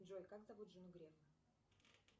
джой как зовут жену грефа